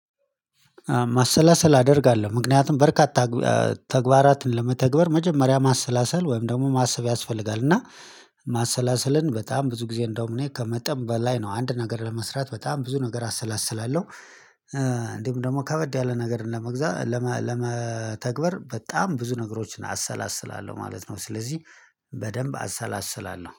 ማሰላሰል አደርጋለሁ ምክንያቱም በርካታ ተግባራትን ለመተግበር መጀመሪያ ማሰላሰል ወይም ደግሞ ማሰብ ያስፈልጋል እና ማሰላሰልን በጣም ብዙ ጊዜ እንደውም እኔ ከመጠን በላይ ነው አንድ ነገር ለመስራት በጣም ብዙ ነገር አሰላስላለሁ። እንዲሁም ደግሞ ከበድ ያለ ነገር ለመግዛት ለመተግበር በጣም ብዙ ነገሮችን አሰላስላለሁ ማለት ነው። ስለዚህ በደንብ አሰላስላለሁ